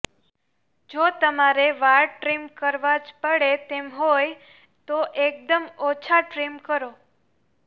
જો તમારે વાળ ટ્રીમ કરવા જ પડે તેમ હોય તો એકદમ ઓછા ટ્રીમ કરો